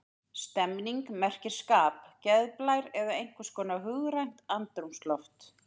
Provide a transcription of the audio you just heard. Stemning merkir skap, geðblær eða einhvers konar hugrænt andrúmsloft.